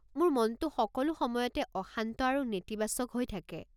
মোৰ মনটো সকলো সময়তে অশান্ত আৰু নেতিবাচক হৈ থাকে।